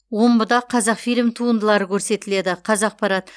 омбыда қазақфильм туындылары көрсетіледі қазақпарат